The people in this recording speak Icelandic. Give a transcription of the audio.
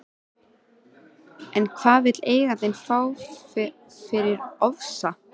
En hvað vill eigandinn fá fyrir Ofsa?